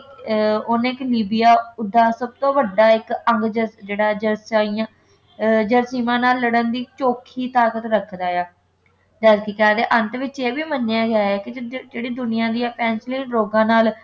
ਅਹ ਓਹਨੇ ਇੱਕ ਨਿਬਿਆ ਉਸਦਾ ਸਭ ਤੋਂ ਵੱਢਾ ਇੱਕ ਜਿਹੜਾ ਜਰਾਸੀਮ`ਜਰਾਸੀਮਾਂ ਨਾਲ ਲੜਨ ਦੀ ਚੋਖੀ ਤਾਕਤ ਰੱਖਦਾ ਹੈ ਜੇ ਅਸੀਂ ਕਹਿ ਦੇਈਏ ਅੰਤ ਵਿੱਚ ਇਹ ਵੀ ਮੰਨਿਆ ਗਿਆ ਹੈ ਕਿ ਜਿਹੜੀ ਦੁਨੀਆ ਦੀਆਂ ਪੈਂਸੀਲੀਨ ਰੋਗਾਂ ਨਾਲ